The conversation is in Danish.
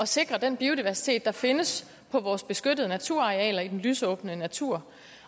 sikre den biodiversitet der findes på vores beskyttede naturarealer i den lysåbne natur